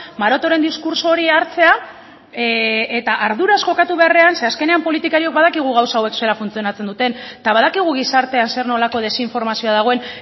marotoren diskurtso hori hartzea eta arduraz jokatu beharrean zeren azkenean politikariok badakigu gauza hauek zelan funtzionatzen duten eta badakigu gizartean zer nolako desinformazioa dagoen